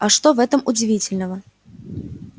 а что в этом удивительного